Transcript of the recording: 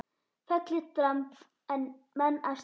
Fellir dramb menn af stalli.